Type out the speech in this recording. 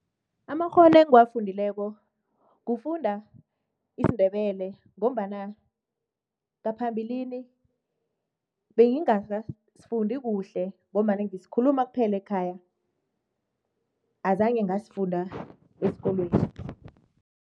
Amakghono engiwafundileko kufunda isiNdebele ngombana ngaphambilini, bengingasifundi kuhle ngombana ngisikhuluma kuphela ekhaya, azange ngasifunda esikolweni.